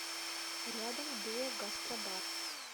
рядом дуо гастробар